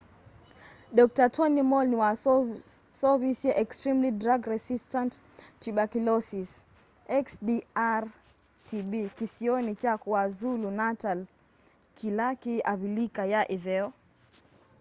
dr. tony moll niwaseovisye extremely drug resistant tuberclosis xdr-tb kisioni kya kwazulu-natal kila ki avilika ya itheo